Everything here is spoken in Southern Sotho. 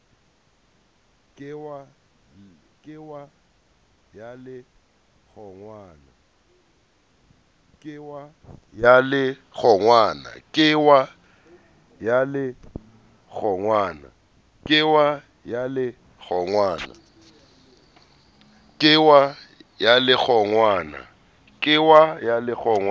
ke wa ya le kgongwana